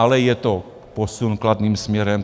Ale je to posun kladným směrem.